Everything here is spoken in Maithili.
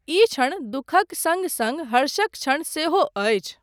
ई क्षण दुःखक सङ्ग सङ्ग हर्षक क्षण सेहो अछि।